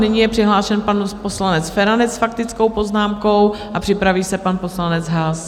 Nyní je přihlášen pan poslanec Feranec s faktickou poznámkou a připraví se pan poslanec Haas.